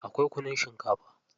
Akwai kunun shinkafa.